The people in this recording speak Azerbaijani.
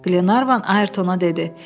Qlenarvan Ayertona dedi: